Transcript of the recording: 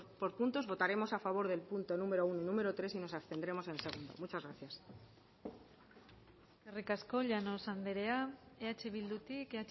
por puntos votaremos a favor del punto número uno número tres y nos abstendremos en el dos muchas gracias eskerrik asko llanos andrea eh bildutik